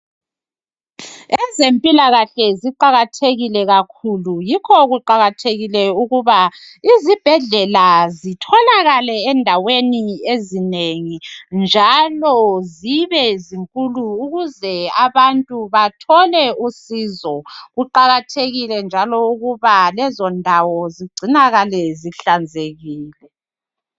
Ezempilakahle ziqakathekile kakhulu yikho kuqakathekile ukuba izibhedlela zitholakale endaweni ezinengi njalo zibe zinkulu ukuze abantu bathole usizo. Kuqakathekile njalo ukuba lezondawo zigcinakale zihlanzekile.